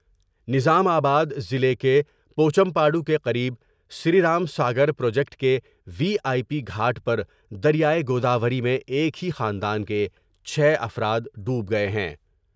نظام آباد ضلع کے پوچم پاڈو کے قریب سری رام ساگر پراجیکٹ کے وی آئی پی گھاٹ پر دریاۓ گوداوری میں ایک ہی خاندان کے چھ افرادڈوب گئے ہیں ۔